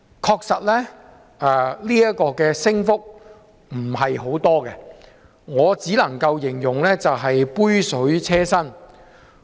確實，這升幅不算太大，我只能夠形容是杯水車薪。